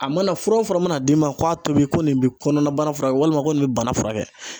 A mana fura o fura mana d'i ma k'a tobi ko nin bɛ kɔnɔna bana furakɛ walima ko nin bɛ bana furakɛ